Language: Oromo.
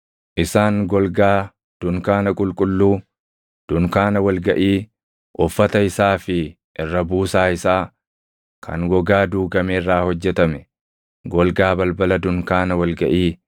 Isaan golgaa dunkaana qulqulluu, dunkaana wal gaʼii, uffata isaa fi irra buusaa isaa kan gogaa duugame irraa hojjetame, golgaa balbala dunkaana wal gaʼii,